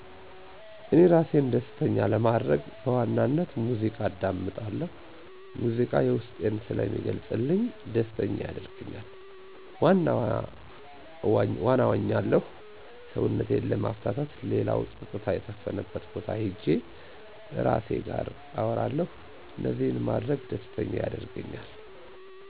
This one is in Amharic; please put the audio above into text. እኔ እራሴን ደስተኛ ለማድረግ በዋናነት ሙዚቃ አዳምጣለሁ ሙዚቃ የዉስጤን ስለሚገልጽልኝ ደስተኛ ያደርገኛ፣ ዋና እዋኛለሁ ሰዉነቴን ለማፍታታት ሌላዉ ፀጥታ የሰፈነበት ቦታ ሄጄ እራሴ ጋር አወራለሁ እነዚህን ማድረግ ደስተኛ ያደርገኛል።